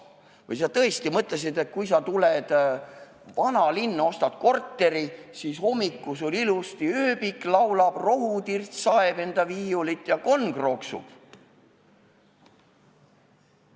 Või sa tõesti mõtlesid, et kui sa tuled vanalinna, ostad korteri, siis hommikul sul ilusasti ööbik laulab, rohutirts saeb enda viiulit ja konn krooksub?